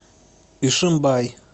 ишимбай